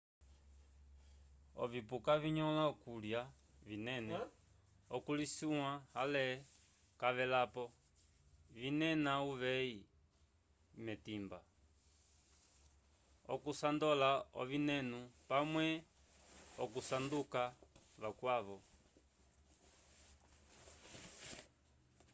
ovipuka vinyõla okulya vinene okulisuya ale cavelapo vinena uveyi wetimba okusandola ovinenu pamwe okusanduka vakwavo